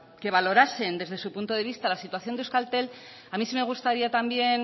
que valorasen desde su punto de vista la situación de euskaltel a mí sí me gustaría también